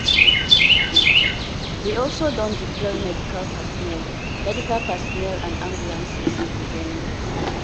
we also don deploy medical personnel medical personnel and ambulances to di venue.